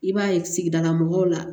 I b'a ye sigidala mɔgɔw la